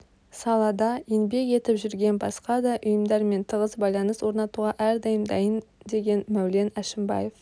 салада еңбек етіп жүрген басқа да ұйымдармен тығыз байланыс орнатуға әрдайым дайын деген мәулен әшімбаев